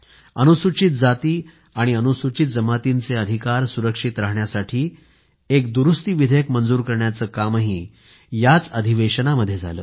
अनुसूचित जाती आणि अनुसूचित जमातींचे अधिकार सुरक्षित राहण्यासाठी एक दुरूस्ती विधेयक मंजूर करण्याचं कामही याच अधिवेशनामध्ये झालं